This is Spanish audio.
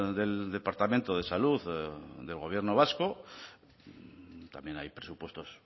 del departamento de salud del gobierno vasco también hay presupuestos